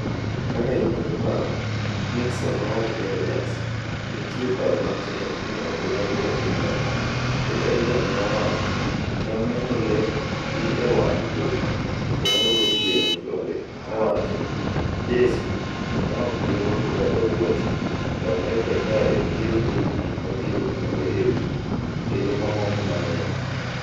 "Kaka inyalo paro,” Nixon nowacho ne Rogers, nitie paro matek ni ok onego watim kamano, kaka Reagan ne owacho, ne oneno le gi e wang' jowi nyoro gotieno konde owacho ,jeso, ne ok giruako kata wuoche ,to Amerka kae biro golo gik mabiro timore e wiye, kendo mamoko mang’eny.